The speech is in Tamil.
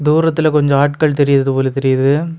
தூரத்துத்துல கொஞ்ச ஆட்கள் தெரியரது போல தெரியுது.